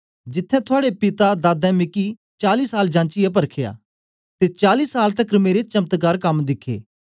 जिथें थुआड़े पिता दादें मिकी चाली साल जाचियै परखया ते चली साल तकर मेरे चमत्कार कम दिखे